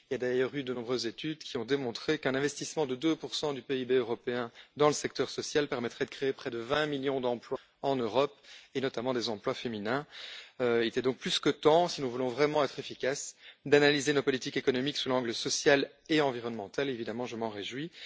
Il y a d'ailleurs eu de nombreuses études qui ont démontré qu'un investissement de 2 du PIB européen dans le secteur social permettrait de créer près de 20 millions d'emplois en Europe, et notamment des emplois féminins. Il était donc plus que temps, si nous voulons vraiment être efficaces, d'analyser nos politiques économiques sous l'angle social et environnemental, et évidemment je m'en réjouis.